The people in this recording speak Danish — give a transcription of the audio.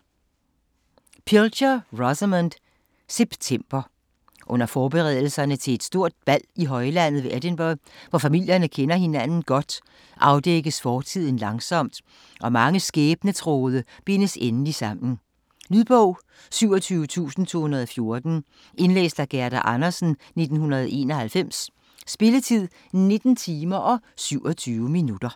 Pilcher, Rosamunde: September Under forberedelserne til et stort bal i højlandet ved Edingburgh, hvor familierne kender hinanden godt, afdækkes fortiden langsomt, og mange skæbnetråde bindes endelig sammen. Lydbog 27214 Indlæst af Gerda Andersen, 1991. Spilletid: 19 timer, 27 minutter.